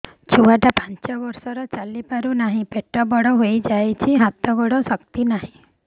ଛୁଆଟା ପାଞ୍ଚ ବର୍ଷର ଚାଲି ପାରୁ ନାହି ପେଟ ବଡ଼ ହୋଇ ଯାଇଛି ହାତ ଗୋଡ଼ରେ ଶକ୍ତି ନାହିଁ